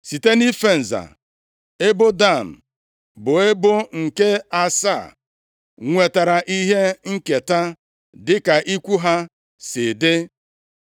Site nʼife nza ebo Dan, bụ ebo nke asaa nwetara ihe nketa dịka ikwu ha si dị.